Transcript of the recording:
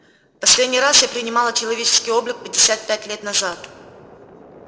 последний раз я принимала человеческий облик пятьдесят пять лет назад